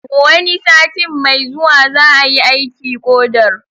Wani satin mai zuwa za'a yi aiki ƙodar.